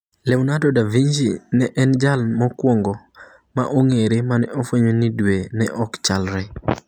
Leonardo da Vinci ne en jalno mokuongo ma ong'ere mane ofwenyo ni dwe ne ok chalre kata chalre.